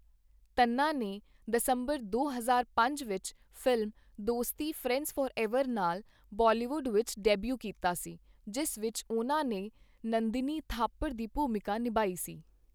ਤੰਨਾ ਨੇ ਦਸੰਬਰ ਦੋ ਹਜ਼ਾਰ ਪੰਜ ਵਿੱਚ ਫ਼ਿਲਮ ਦੋਸਤੀ ਫਰੈਂਡਜ਼ ਫਾਰਐਵਰ ਨਾਲ ਬਾਲੀਵੁੱਡ ਵਿੱਚ ਡੈਬਿਊ ਕੀਤਾ ਸੀ, ਜਿਸ ਵਿੱਚ ਉਹਨਾਂ ਨੇ ਨੰਦਿਨੀ ਥਾਪਰ ਦੀ ਭੂਮਿਕਾ ਨਿਭਾਈ ਸੀ।